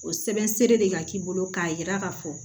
O sɛbɛn seere de ka k'i bolo k'a yira k'a fɔ